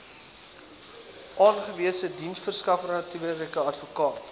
aangewese diensverskaffernetwerke adv